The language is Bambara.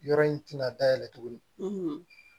Yɔrɔ in tɛna da yɛlɛ tuguni